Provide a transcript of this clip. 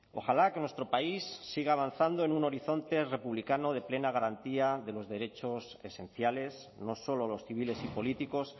ojalá que nuestro país siga avanzando en un horizonte republicano de plena garantía de los derechos esenciales no solo los civiles y políticos